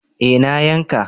Eh na yanka